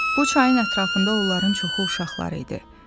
Bu çayın ətrafında onların çoxu uşaqları idi.